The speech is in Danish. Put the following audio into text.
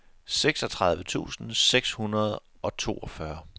seksogtredive tusind seks hundrede og toogfyrre